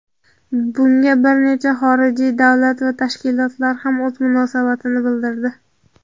Bunga bir necha xorijiy davlat va tashkilotlar ham o‘z munosabatini bildirdi.